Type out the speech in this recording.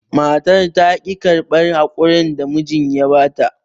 Matar taƙi karɓar haƙurin da mijin ya bata.